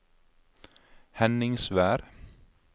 Henningsvær